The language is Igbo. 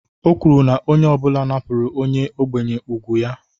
O kwuru na onye ọ bụla napụrụ onye ogbenye ùgwù ya